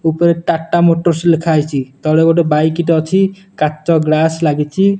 ଉପରେ ଗୋଟେ ଟା_ଟା ଲେଖାହେଇଚି ତଳେ ଗୋଟେ ବାଇକ୍ ଟେ ଅଛି କାଚ ଗ୍ଲାସ୍ ଲାଗିଚି।